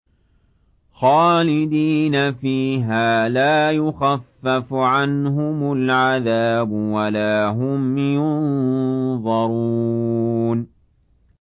خَالِدِينَ فِيهَا ۖ لَا يُخَفَّفُ عَنْهُمُ الْعَذَابُ وَلَا هُمْ يُنظَرُونَ